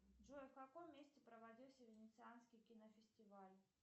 джой в каком месте проводился венецианский кинофестиваль